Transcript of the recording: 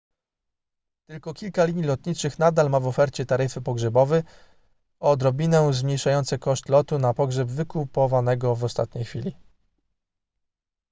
tylko kilka linii lotniczych nadal ma w ofercie taryfy pogrzebowe odrobinę zmniejszające koszt lotu na pogrzeb wykupowanego w ostatniej chwili